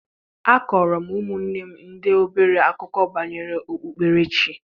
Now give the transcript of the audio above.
Akọọrọ m ụmụnne m ndị obere akụkọ banyere okpukperechi.